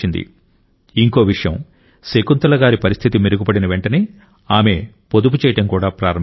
ఇంకో విషయం శకుంతల గారి పరిస్థితి మెరుగుపడిన వెంటనే ఆమె పొదుపు చేయడం కూడా ప్రారంభించారు